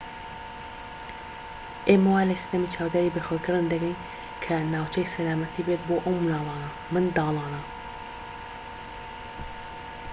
ئێمە وا لە سیستەمی چاودێری بەخێوکردن دەگەین کە ناوچەی سەلامەتی بێت بۆ ئەم منداڵانە